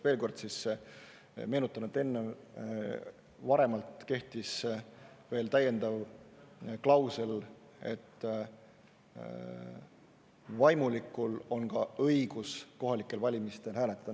Veel kord siis meenutan, et enne, varemalt kehtis veel täiendav klausel, et vaimulikul on ka õigus kohalikel valimistel hääletada.